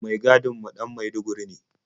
Mai gadin mu ɗan maiduguri ne.